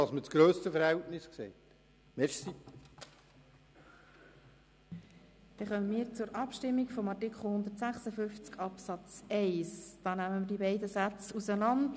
Wir gelangen somit zur Abstimmung und stimmen wie erwähnt über die beiden Sätze getrennt ab.